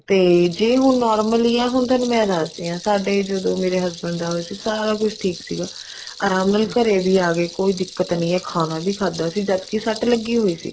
ਤੇ ਜੇ ਹੁਣ normally ਆ ਹੁਣ ਥੋਨੂੰ ਮੈਂ ਦੱਸਦੀ ਹਾਂ ਸਾਡੇ ਜਦੋਂ ਮੇਰੇ husband ਦਾ ਹੋਇਆ ਸੀ ਸਾਰਾ ਕੁੱਛ ਠੀਕ ਸੀਗਾ ਆਰਾਮ ਨਾਲ ਘਰੇ ਵੀ ਆਗੇ ਕੋਈ ਦਿੱਕਤ ਨੀ ਹੈ ਖਾਣਾ ਵੀ ਖਾਧਾ ਸੀ ਜਦ ਕੇ ਸੱਟ ਲੱਗੀ ਹੋਈ ਸੀ